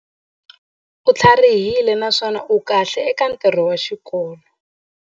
U tlharihile naswona u kahle eka ntirho wa xikolo.